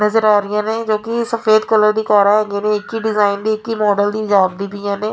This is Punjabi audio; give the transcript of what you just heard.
ਨਜ਼ਰ ਆ ਰਹੀਆਂ ਨੇ ਜੋ ਕਿ ਸਫੇਦ ਕਲਰ ਦੀ ਕਾਰਾਂ ਹੈਗੀਆਂ ਨੇ ਇੱਕ ਹੀ ਡਿਜ਼ਾਇਨ ਦੀ ਇੱਕ ਹੀ ਮਾਡਲ ਦੀ ਜਾਪਦੀ ਪਈਆਂ ਨੇ।